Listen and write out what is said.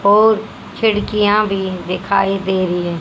और खिड़कियां भी दिखाई दे रही हैं।